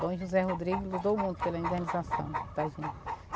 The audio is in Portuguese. Dom José Rodrigo lutou muito pela indenização da gente.